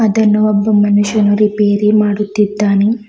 ಇದನ್ನು ಒಬ್ಬ ಮನುಷ್ಯನು ರಿಪೇರಿ ಮಾಡುತ್ತಿದ್ದಾನೆ.